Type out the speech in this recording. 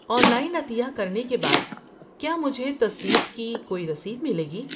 On line عطیہ کرنے کے بعد کیا مجھے تصدیق کی کوئی رسید ملے گی؟